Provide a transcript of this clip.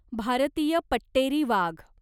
भारतीय पट्टेरी वाघ